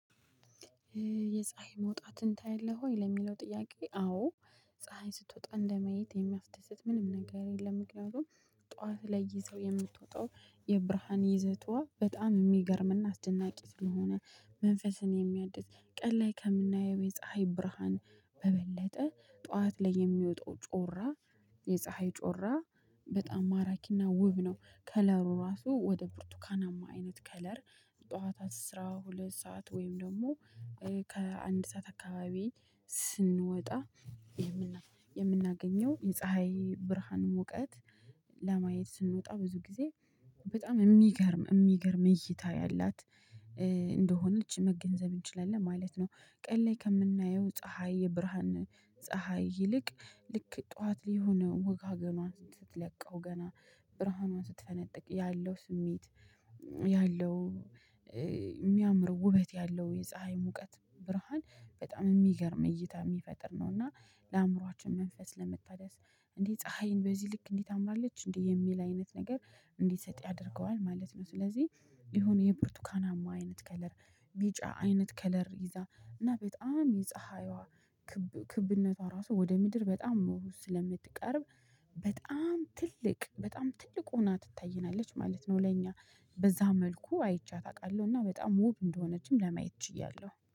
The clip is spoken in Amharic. የፀሀይ መውጣትን ታያለህ ወይ ለሚለው ጥያቄ? አዎ ፀሀይ ስትወጣ እንደማየት የሚያስደስት ምንም ነገር የለም። ምክንያቱም ጠዋት ላይ ይዛው የምትወጣው የብርሃን ይዘቷ በጣም የሚገርምና አስደናቂ ስለሆነ መንፈስን የሚያድስ ቀን ላይ ከምናየው የፀሀይ ብርሃን በበለጠ ጠዋት ላይ የሚወጣው ጮራ የፀሀይ ጮራ በጣም ማራኪና ውብ ነው ከለሩ ራሱ ወደ ብርቱካናማ አይነት ከለር። ጠዋታት አስራ ሁለት ሰዓት ወይም ደግሞ ከአንድ ሰዓት አካባቢ ስንወጣ የምናገኘው የፀሀይ ብርሃን ሙቀት ለማየት ስንወጣ ብዙ ጊዜ በጣም የሚገርም የሚገርም እይታ ያላት እንደሆነች መገንዘብ እንችላለን ማለት ነው። ቀን ላይ ከምናየው ፀሀይ የብርሃን ፀሀይ ይልቅ ልክ ጠዋት ሊሆን ወጋገኗን ስትለቀው ገና ብርሃኗን ስትፈነጥቅ ያለው ስሜት ያለው የሚያምር ውበት ያለው የፀሀይ ሙቀት ብርሃን በጣም የሚገርም እይታ የሚፈጥር ነው። እና ለአእምሮአችን መንፈስ ለመታደስ እንዴ ፀሀይን በዚህ ልክ እንዲ ታምራለች እንዴ የሚል አይነት ነገር እንዲሰጥ ያደርገዋል ማለት ነው። ስለዚህ የሆነ የብርቱካናማ አይነት ከለር ቢጫ አይነት ከለር ይዛ እና በጣም የፀሀይዋ ክብነቷ ራሱ ወደ ምድር በጣም መውሰድ ስለምትቀርብ በጣም ትልቅ በጣም ትልቅ ሆና ትታየናለች ማለት ነው። ለእኛ በዛ መልኩ አይቻት አውቃለሁ እና በጣም ውብ እንደሆነችም ለማየት ችያለሁ